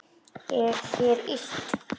Er þér illt?